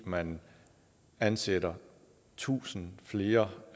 at man ansætter tusind flere